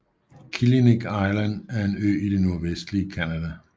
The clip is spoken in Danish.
Killiniq Island er en ø i det nordvestlige Canada